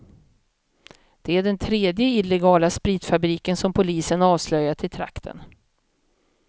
Det är den tredje illegala spritfabriken som polisen avslöjat i trakten.